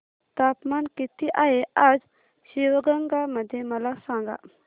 तापमान किती आहे आज शिवगंगा मध्ये मला सांगा